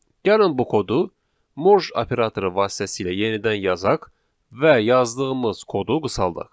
Gəlin bu kodu Morj operatoru vasitəsilə yenidən yazaq və yazdığımız kodu qısaldaq.